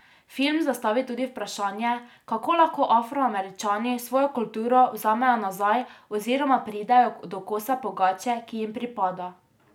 Film zastavi tudi vprašanje, kako lahko Afroameričani svojo kulturo vzamejo nazaj oziroma pridejo do kosa pogače, ki jim pripada.